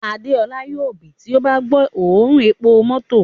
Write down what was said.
Adeola yoo bì ti o ba gbo oorun epo mọto